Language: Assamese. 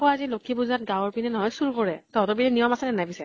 আজি লক্ষী পুজাত গাঁৱৰ পিনে নহয় চুৰ কৰে। তহঁতৰ পিনে নিয়ম আছে নে নাই পিছে?